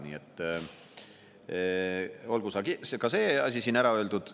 Nii et olgu see asi siin ära öeldud.